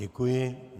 Děkuji.